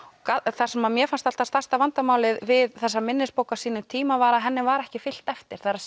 það sem mér fannst alltaf stærsta vandamálið við þessa minnisbók á sínum tíma var að henni var ekki fylgt eftir